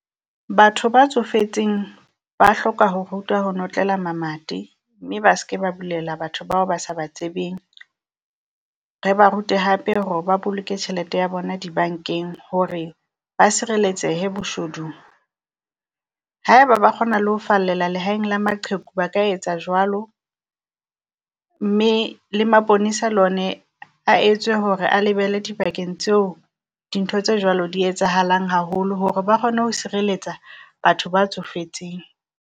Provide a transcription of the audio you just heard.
Batho ba tsofetseng ba hloka ho rutwa ho notlela mamati, mme ba se ke ba bulela batho bao ba sa tsebeng. Re ba rute hape hore ba boloke tjhelete ya bona dibankeng, hore ba sireletsehe boshodung. Haeba ba kgona le ho fallela lehaeng la maqheku ba ka etsa jwalo, mme le maponesa le one a etswe hore a lebele dibakeng tseo dintho tse jwalo di etsahalang haholo hore ba kgone ho sireletsa batho ba tsofetseng.